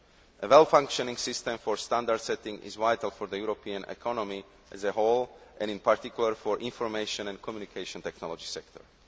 A well functioning system for standard setting is vital for the European economy as a whole and, in particular, for the information and communication technology sector.